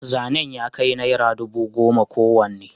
zanen ya kai naira dubu goma kowanne